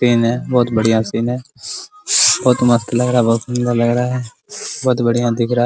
सिन है बहुत बढ़िया सिन है बहुत मस्त लग रहा है बहुत सुन्दर लग रहा है बहुत बढ़िया दिख रहा है ।